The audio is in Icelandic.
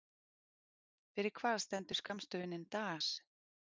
Fyrir hvað stendur skammstöfunin DAS?